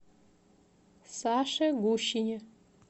саше гущине